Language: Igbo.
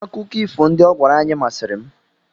Akụkọ ifo ndị ọ gwara anyị masịrị m.